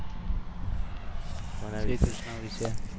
શ્રીકૃષ્ણ વિશે